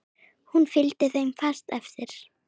Hún fylgdi þeim fast eftir.